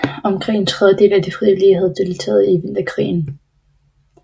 Omkring en tredjedel af de frivillige havde deltaget i Vinterkrigen